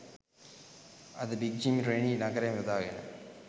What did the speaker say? අද big Jim Rennie නගරයම යොදාගෙන